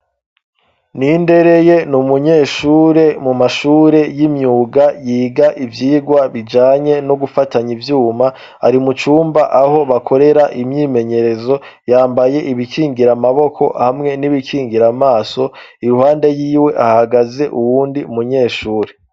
Nindereye ni umunyeshure mu mashure y'imyuga yiga ivyigwa bijanye no gufatanya ivyuma ari mu cumba aho bakorera imyimenyerezo yambaye ibikingira amaboko hamwe n'ibikingira amaso i ruhande yiwe ahagaze uwundi munyeshure.